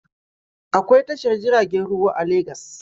Akwai tashar jiragen ruwa a Legas.